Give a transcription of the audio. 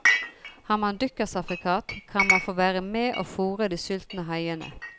Har man dykkersertifikat, kan man få være med og fôre de sultne haiene.